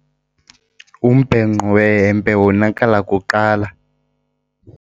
Umbhenqo wehempe wonakala kuqala.